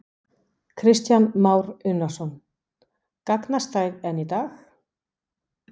Kristján Már Unnarsson: Gagnast þær enn í dag?